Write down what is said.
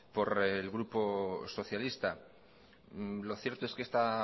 por el grupo socialista lo cierto es que esta